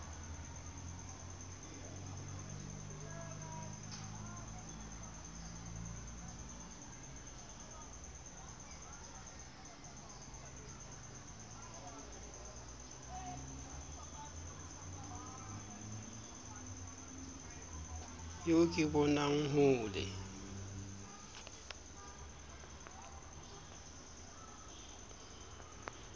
eo ke bonang ho le